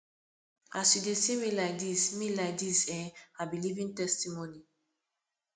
as you dey see me like dis me like dis eh i be living testimony